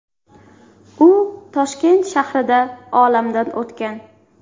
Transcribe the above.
U Toshkent shahrida olamdan o‘tgan.